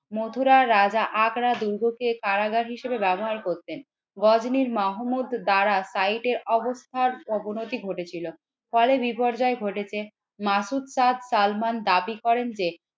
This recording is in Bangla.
মধুরার রাজা আগ্রার দুর্গ কে কারাগার হিসেবে ব্যবহার করতেন গজনীর মাহমুদ দ্বারা সাইডের অবস্থার অবনতি ঘটেছিল ফলে বিপর্যয় ঘটেছে। মাসুদ তার সালমান দাবি করেন যে